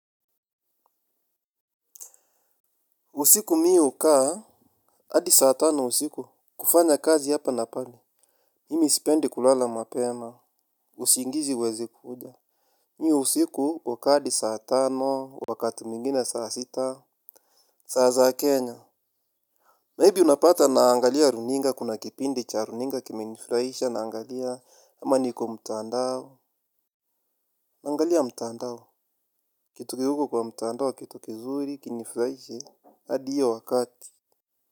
Usiku mi hukaa, hadi saa tano usiku, kufanya kazi hapa na pale. Mimi sipendi kulala mapema, usingizi huwezi kuja. Mi usiku hukaa adi saa tano, wakati mwngine saa sita, saa za kenya. Maybe unapata naangalia runinga kuna kipindi cha runinga kimenifraisha naangalia ama niko mtandao. Naangalia mtandao, kitu ki huko kwa mtandao, kituki zuri, kinifraishe, hadi hiyo wakati.